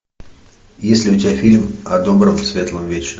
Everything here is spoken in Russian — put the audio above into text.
есть ли у тебя фильм о добром светлом вечном